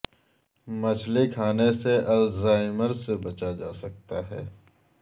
مچھلی کھانے سے الزائمر سے بچا جا سکتا ہے